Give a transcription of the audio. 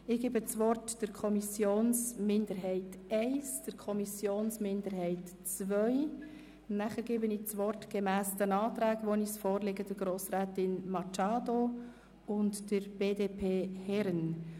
Ich erteile das Wort der Kommissionsminderheit I, danach der Kommissionsminderheit II, dann gemäss den vorliegenden Anträgen Grossrätin Machado und Grossrätin Herren.